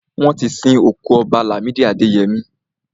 Wọ́n ti sin òkú Ọba Làmídì Adẹyẹmí.